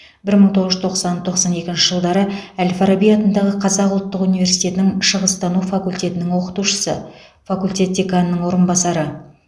бір мың тоғыз жүз тоқсан тоқсан екінші жылдары әл фараби атындағы қазақ ұлттық университетінің шығыстану факультетінің оқытушысы факультет деканының орынбасары